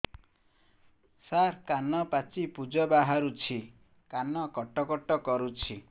ସାର କାନ ପାଚି ପୂଜ ବାହାରୁଛି କାନ କଟ କଟ କରୁଛି